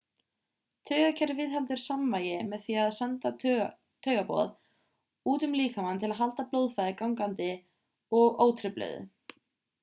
taugakerfið viðheldur samvægi með því að senda taugaboð út um líkamann til að halda blóðflæði gangandi og ótrufluðu